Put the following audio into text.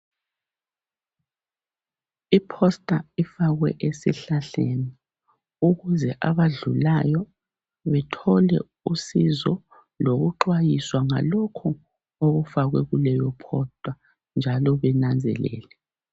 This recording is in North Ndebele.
Iposta ifakwe esihlahleni ukuze abadlulayo bethole usizo lokuxwayiswa ngalokhu okufakwe kuleyo posta njalo benanzelela.